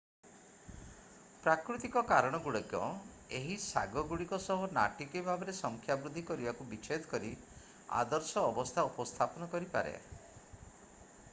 ପ୍ରାକୃତିକ କାରଣ ଗୁଡ଼ିକ ଏହି ଶାଗ ଗୁଡ଼ିକ ସହ ନାଟକୀୟ ଭାବରେ ସଂଖ୍ୟା ବୃଦ୍ଧି କରିବାକୁ ବିଛେଦ କରି ଆଦର୍ଶ ଅବସ୍ଥା ଉପସ୍ଥାପନ କରିପାରେ